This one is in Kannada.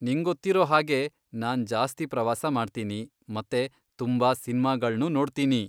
ನಿಂಗೊತ್ತಿರೋ ಹಾಗೆ ನಾನ್ ಜಾಸ್ತಿ ಪ್ರವಾಸ ಮಾಡ್ತೀನಿ ಮತ್ತೆ ತುಂಬಾ ಸಿನ್ಮಾಗಳ್ನೂ ನೋಡ್ತೀನಿ.